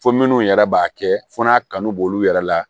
Fo minnu yɛrɛ b'a kɛ fo n'a kanu b'olu yɛrɛ la